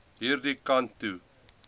hierdie kant toe